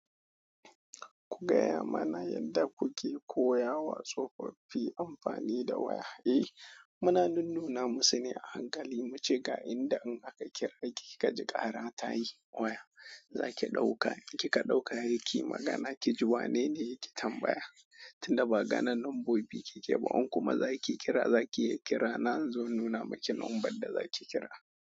Ku gaya mana yadda kuke koya wa tsofaffi amfani da waya. Eh muna nunnuna musune ahankali. Mu ce ga inda in aka kira ki ka ji ƙara ta yi waya, zaki ɗauka. In ki ka ɗauka, sheki magana, ki ji wanene yake tambaya. Tun da ba ganin lambobi kike ba, in kuma za ki kira, za ki iya kira. Na inzo in nuna maki number da za ki kira.